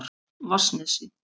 Vatnsnesi